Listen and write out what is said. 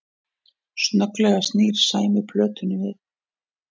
Snögglega snýr Sæmi plötunni við